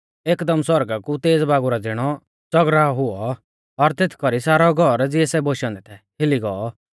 एकदम सौरगा कु तेज़ बागुरा ज़िणौ च़गराअ हुऔ और तेथ कौरी सारौ घौर ज़िऐ सै बोशै औन्दै थै हिली गौ